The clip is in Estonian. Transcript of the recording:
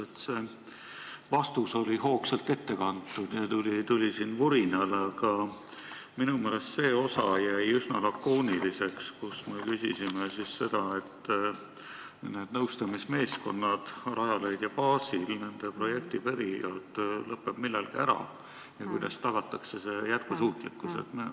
Teie vastus oli hoogsalt ette kantud ja tuli vurinal, aga minu meelest jäite üsna lakooniliseks, kui vastasite meie küsimusele selle kohta, et Rajaleidja baasil töötavate meeskondade projektiperiood lõpeb millalgi ära ja kuidas tagatakse projekti jätkusuutlikkus.